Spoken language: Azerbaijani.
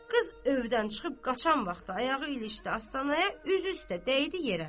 Qız övdən çıxıb qaçan vaxtı ayağı ilişdi astanaya, üzü üstə dəydi yerə.